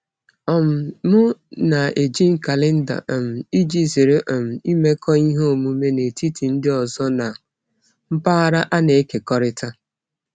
um M na-eji kalenda um iji zere um imekọ ihe omume n'etiti ndị ọzọ na mpaghara a na-ekekọrịta.